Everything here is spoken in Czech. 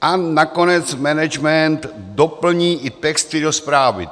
A nakonec management doplní i texty do zprávy.